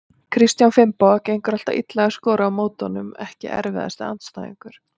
Kristján Finnboga, gengur alltaf illa að skora á móti honum Ekki erfiðasti andstæðingur?